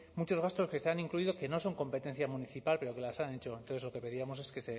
muchos gastos que están incluidos que no son competencia municipal pero que las han hecho entonces lo que pedíamos es que